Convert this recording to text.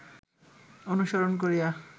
অনুসরণ করিয়া